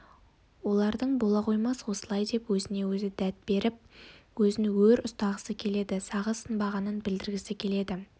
оларың бола қоймас осылай деп өзіне-өзі дәт беріп өзін өр ұстағысы келеді сағы сынбағанын білдіргісі келеді